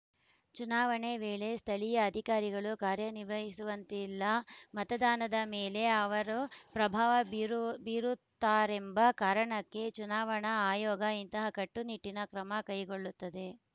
ಚುನಾವಣೆ ವೇಳೆ ಸ್ಥಳೀಯ ಅಧಿಕಾರಿಗಳು ಕಾರ್ಯನಿರ್ವಹಿಸುವಂತಿಲ್ಲ ಮತದಾನದ ಮೇಲೆ ಅವರು ಪ್ರಭಾವ ಬೀರು ಬೀರುತ್ತಾರೆಂಬ ಕಾರಣಕ್ಕೆ ಚುನಾವಣಾ ಆಯೋಗ ಇಂತಹ ಕಟ್ಟು ನಿಟ್ಟಿನ ಕ್ರಮ ಕೈಗೊಳ್ಳುತ್ತದೆ